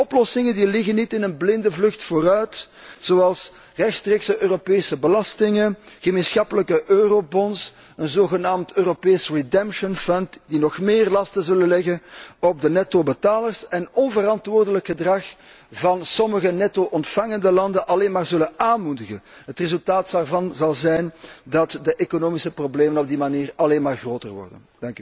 Die oplossingen, die liggen niet in een blinde vlucht vooruit, zoals rechtstreekse Europese belastingen, gemeenschappelijke eurobonds, een zogenaamd Europees redemption fund, die nog meer lasten zullen leggen op de nettobetalers, en die onverantwoord gedrag van sommige netto ontvangende landen alleen maar zullen aanmoedigen. Het resultaat daarvan zal zijn dat de economische problemen op die manier alleen maar groter worden.